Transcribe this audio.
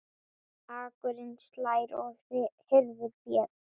Akurinn slær og hirðir féð.